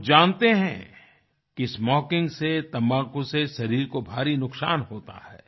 वो जानते हैं कि स्मोकिंग से तम्बाकू से शरीर को भारी नुकसान होता है